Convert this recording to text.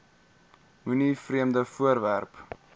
moenie vreemde voorwerpe